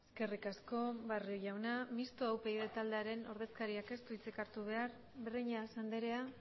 eskerrik asko barrio jauna mistoa upyd taldearen ordezkariak ez du hitzik hartu behar breñas andrea